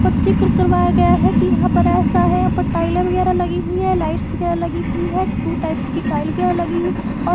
पर जिक्र करवाया गया है कि यहां पर ऐसा है यहां पर टाइल वगैरह लगी हुई है लाइट्स वगैरह लगी हुई है टू टाइप्स की टाइल लगी हुई है और --